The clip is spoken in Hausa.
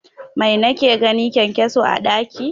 Mai nake gani, kyankyaso a ɗaki